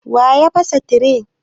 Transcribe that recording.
Waya fasa tire?